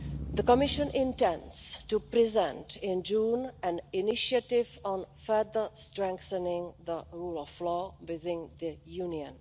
The Commission intends to present in June an initiative on further strengthening the rule of law within the Union.